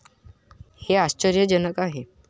हे आश्चर्यजनक आहे.